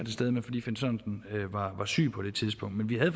stede men fordi finn sørensen var syg på det tidspunkt men vi havde